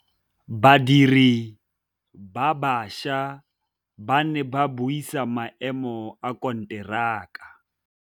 Badiri ba baša ba ne ba buisa maêmô a konteraka.